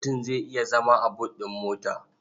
Mutum zai iya zama a but ɗin mota.